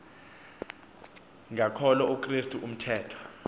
ngakholo ukrestu umthetho